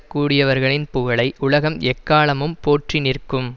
கூடியவர்களின் புகழை உலகம் எக்காலமும் போற்றி நிற்கும்